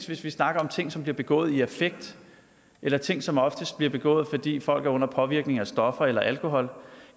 hvis vi snakker om ting som bliver begået i affekt eller ting som oftest bliver begået fordi folk er under påvirkning af stoffer eller alkohol